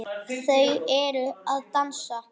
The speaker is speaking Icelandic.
Þau eru að dansa